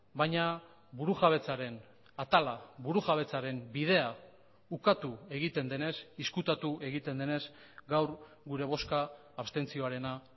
baina burujabetzaren atala burujabetzaren bidea ukatu egiten denez ezkutatu egiten denez gaur gure bozka abstentzioarena